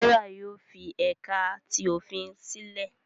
Serah yóò fi ẹka ti ofin silẹ